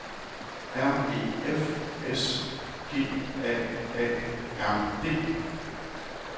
R E F S G A A R D